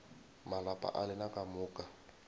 malapa a lena ka moka